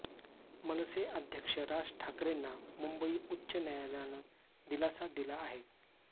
मनसे अध्यक्ष राज ठाकरेंना मुंबई उच्च न्यायालयानं दिलासा दिला आहे